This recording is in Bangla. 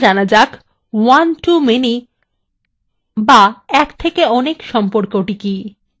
প্রথমে জানা যাক onetomany বা একথেকেone সম্পর্কটি কি